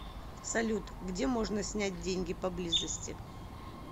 салют где можно снять деньги поблизости